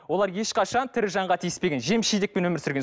олар ешқашан тірі жанға тиіспеген жеміс жидекпен өмір сүрген